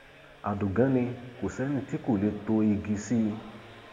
àdògán ni kò sẹni tí kò lè tó igi sí i